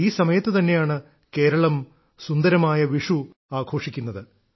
ഈ സമയത്തു തന്നെയാണ് കേരളം സുന്ദരമായ വിഷു ആഘോഷിക്കുന്നത്